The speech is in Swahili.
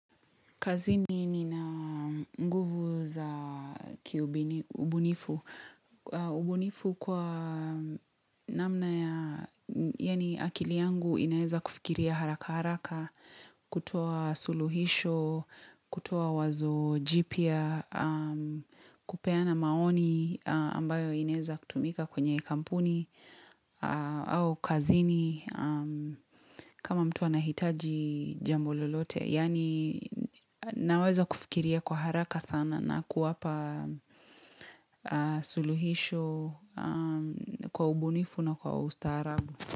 Kazini nina nguvu za kiubunifu. Ubunifu kwa namna ya yani akili yangu inaeza kufikiria haraka haraka, kutoa suluhisho, kutoa wazo jipya, kupeana maoni ambayo inaeza kutumika kwenye kampuni au kazini kama mtu anahitaji jambo lolote yani naweza kufikiria kwa haraka sana na kuwapa suluhisho kwa ubunifu na kwa ustaharabu.